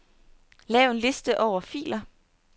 Lav en liste over filer.